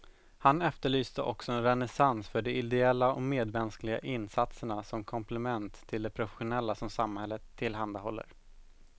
Han efterlyste också en renässans för de ideella och medmänskliga insatserna som komplement till de professionella som samhället tillhandahåller.